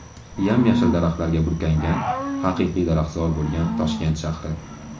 Yam-yashil daraxtlarga burkangan, haqiqiy daraxtzor bo‘lgan Toshkent shahri.